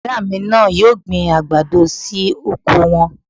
Bọ̀dá mi náà yóò gbin àgbàdo sí oko wọn